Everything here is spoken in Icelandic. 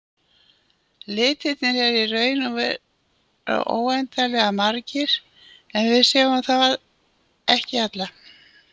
Litirnir eru í raun og veru óendanlega margir en við sjáum þá ekki alla.